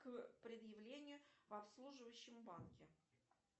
к предъявлению в обслуживающем банке